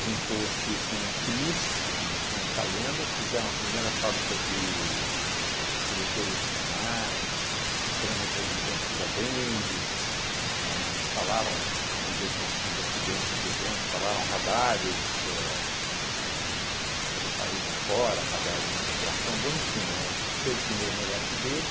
juntou-se com o Cris e com o Calenda, fizeram a primeira fábrica de de seletores de canais, foram representantes da Bendix, a instalaram, hoje em dia com esses acidentes de avião, instalaram radares éh éh pelo país afora, radares de aviação, bom, em suma, éh fez o primeiro negócio dele,